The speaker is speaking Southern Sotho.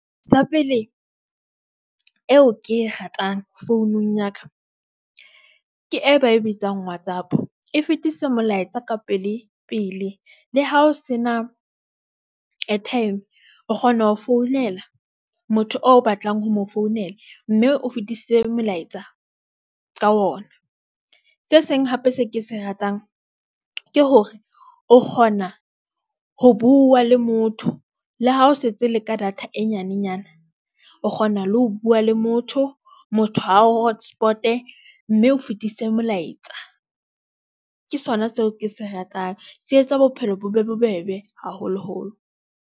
Sa pele eo ke e ratang, founung ya ka ke e ba e bitsang Whatsapp e fetisa molaetsa ka pele. Pele le ha o sena airtime, o kgona ho founela motho o batlang ho mo founela mme o fetise molaetsa ka ona. Se seng hape se ke se ratang ke hore o kgona ho bua le motho le ha o setse le ka data e nyanenyana, o kgona le ho bua le motho. Motho a o hotspot-e mme o fetise molaetsa, ke sona seo ke se ratang. Se etsa bophelo bo be bobebe haholoholo.